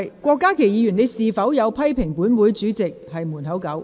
郭家麒議員，你有否批評本會主席是"門口狗"？